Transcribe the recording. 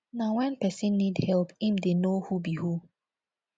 na when persin need help im de know who be who